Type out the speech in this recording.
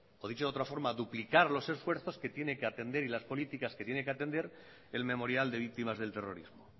o dicho de otra forma duplicar los esfuerzos que tiene que atender y las políticas que tiene que atender el memorial de víctimas del terrorismo